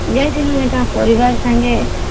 ଯାଇଥିଲି ଏଁଠା ପରିବାର ସାଙ୍ଗେ